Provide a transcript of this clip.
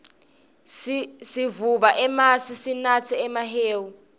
sivuba emasi sinatse nemahewu